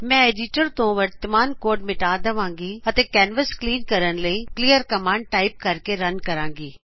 ਮੈ ਐਡਿਟਰ ਤੋ ਵਰਤਮਾਨ ਕੋਡ ਮਿਟਾ ਦਵਾਗੀ ਅਤੇ ਕੈਨਵਸ ਕਲੀਨ ਕਰਨ ਲਈ ਕਲੀਅਰ ਕਮਾਨਡ ਟਾਇਪ ਕਰਕੇ ਰਨ ਕਰਾਗੀ